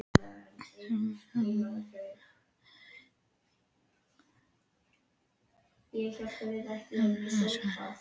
Tölvan suðar meðan fingurnir pikka vélrænt, úti hægist veðrið.